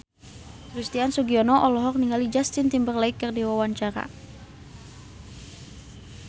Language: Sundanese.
Christian Sugiono olohok ningali Justin Timberlake keur diwawancara